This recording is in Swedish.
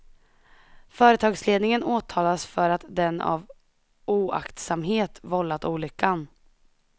Företagsledningen åtalas för att den av oaktsamhet vållat olyckan.